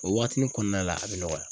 O waatinin kɔnɔna la a be nɔgɔya